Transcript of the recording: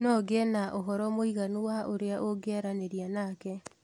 No ngĩe na ũhoro mũiganu wa ũrĩa ũngĩaranĩria nake